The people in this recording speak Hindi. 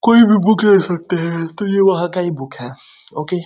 कोई भी बुक ले सकते है। तो ये वहाँ का ही बुक है। ओके ।